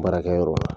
Baarakɛyɔrɔ la